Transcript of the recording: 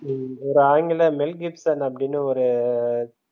உம் ஒரு ஆங்கில மெல் கிப்சன்அப்டின்னு ஒரு